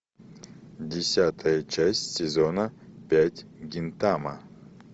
десятая часть сезона пять гинтама